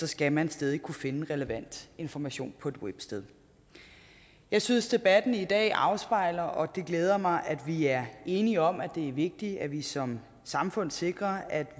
skal man stadig kunne finde relevant information på et websted jeg synes debatten i dag afspejler og det glæder mig at vi er enige om at det er vigtigt at vi som samfund sikrer at